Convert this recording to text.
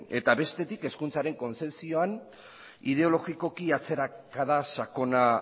eta bestetik hezkuntzaren kontzepzioan ideologikoki atzerakada sakona